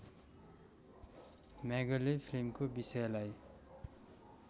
म्यागले फिल्मको विषयलाई